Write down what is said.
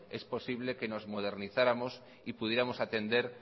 es posible que nos modernizáramos y pudiéramos atender